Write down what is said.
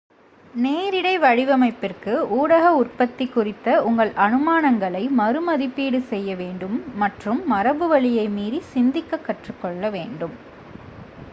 நேரிடை வடிவமைப்பிற்கு ஊடக உற்பத்தி குறித்த உங்கள் அனுமானங்களை மறு மதிப்பீடு செய்ய வேண்டும் மற்றும் மரபு வழியை மீறி சிந்திக்க கற்றுக்கொள்ள வேண்டும்